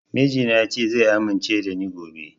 Mijina ya ce zai amince da ni gobe